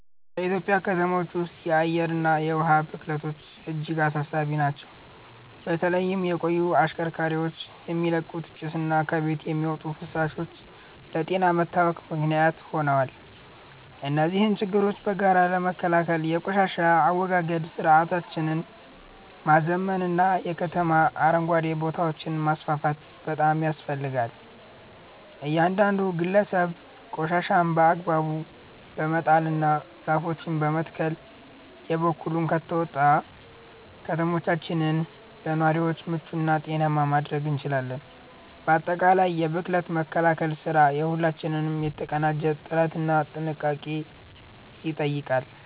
በኢትዮጵያ ከተሞች ውስጥ የአየርና የውሃ ብክለቶች እጅግ አሳሳቢ ናቸው። በተለይም የቆዩ ተሽከርካሪዎች የሚለቁት ጭስና ከቤቶች የሚወጡ ፍሳሾች ለጤና መታወክ ምክንያት ሆነዋል። እነዚህን ችግሮች በጋራ ለመከላከል የቆሻሻ አወጋገድ ስርዓታችንን ማዘመንና የከተማ አረንጓዴ ቦታዎችን ማስፋፋት ያስፈልጋል። እያንዳንዱ ግለሰብ ቆሻሻን በአግባቡ በመጣልና ዛፎችን በመትከል የበኩሉን ከተወጣ፣ ከተሞቻችንን ለነዋሪዎች ምቹና ጤናማ ማድረግ እንችላለን። ባጠቃላይ የብክለት መከላከል ስራ የሁላችንንም የተቀናጀ ጥረትና ጥንቃቄ ይጠይቃል።